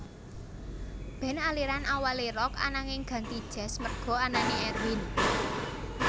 Band aliran awalé Rock ananging ganti jazz merga anané Erwin